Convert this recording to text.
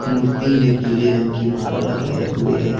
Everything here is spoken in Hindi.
मूर्ति में पीले रंग की माला लगाए हुए है।